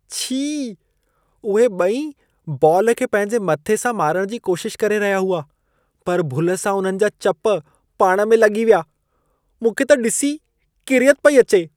छी! उहे ॿई बॉल खे पंहिंजे मथे सां मारण जी कोशिश करे रहिया हुआ, पर भुल सां उन्हनि जा चप पाण में लॻी विया। मूंखे त ॾिसी ई किरियत पई अचे।